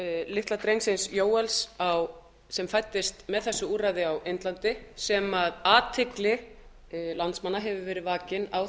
litla drengsins jóels sem fæddist með þessu úrræði á indlandi sem athygli landsmanna hefur verið